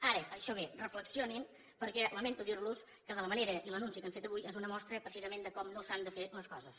ara això bé reflexionin perquè lamento dirlos que de la manera i l’anunci que han fet avui és una mostra precisament de com no s’han de fer les coses